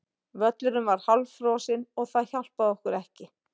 Völlurinn var hálffrosinn og það hjálpaði okkur ekki.